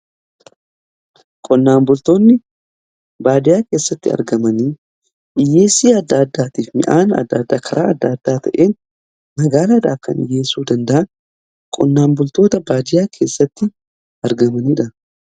qonnaan bultoonni baadiyaa keessatti argamanii dhiyyeessii adda addaatiif midhaan adda addaa karaa adda addaa ta'een magaaladhaaf kan dhiyyeessuu danda'an qonnaan bultoota baadiyaa keessatti argamaniidha.